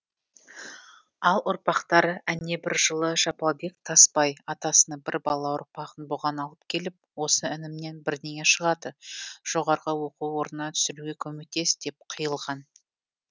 ал ұрпақтары әнебір жылы жапалбек тасбай атасының бір бала ұрпағын бұған алып келіп осы інімнен бірнеңе шығады жоғарғы оқу орнына түсіруге көмектес деп қиылған